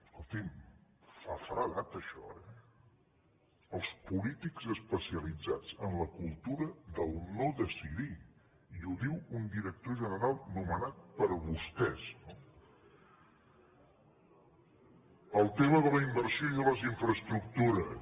escolti’m fa feredat això eh els polítics especialitzats en la cultura del no decidir i ho diu un director general nomenat per vostès el tema de la inversió i de les infraestructures